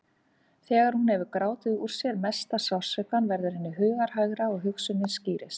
Þegar hún hefur grátið úr sér mesta sársaukann verður henni hughægra og hugsunin skýrist.